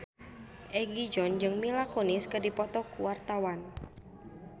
Egi John jeung Mila Kunis keur dipoto ku wartawan